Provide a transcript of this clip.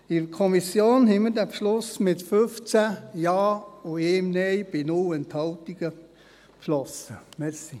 In der Kommission haben wir dies mit 15 Ja und 1 Nein bei 0 Enthaltungen beschlossen.